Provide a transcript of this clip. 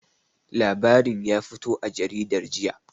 Labarin ƴa fito a jaridar jiƴa.